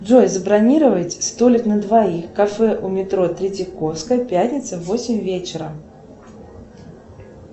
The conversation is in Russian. джой забронировать столик на двоих кафе у метро третьяковская пятница в восемь вечера